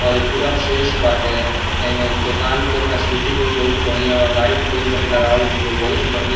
और इ पूरा फ्रेश बाटे ऐ में दुकान के फैसिलिटी भी बहुत बढ़िया बा लाइट भी लगावल गेलो बहुत-बढ़िया --